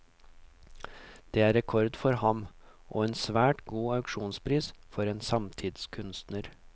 Det er rekord for ham, og en svært god auksjonspris for en samtidskunstner.